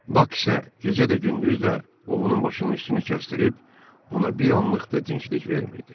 Bak isə gecə də gündüz də ovunun başının üstünü kəstrib ona bir anlıq da dincəlik vermirdi.